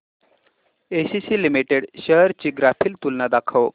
ACC limited shares ची graphical तुलना दाखव